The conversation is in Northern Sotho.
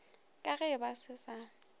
ka ge ba se sa